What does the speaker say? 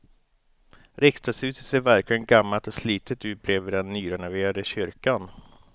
Riksdagshuset ser verkligen gammalt och slitet ut bredvid den nyrenoverade kyrkan.